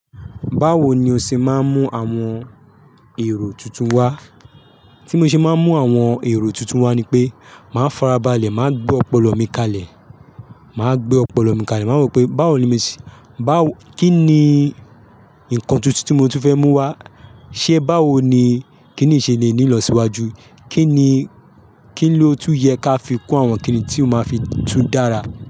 Báwo ni o ṣe máa ń mú àwọn èrò tuntun wá? Tí mo ṣe máa ń mú àwọn èrò tuntun wá ni pé, màá farabalẹ̀, màá gbe ọpọlọ mi kalẹ̀, màá gbe ọpọlọ mi kalẹ̀, màá rò pé báwo ni mo ṣe, báwo, kí ni nǹkan tuntun tí mo tún fẹ́ mú wá, ṣé báwo ni kìníyi ṣe le ní ilọ̀síwájú, kí ni, kí ló tún yẹ ká fi kun àwọn kìní tí ó máa fi tún dára.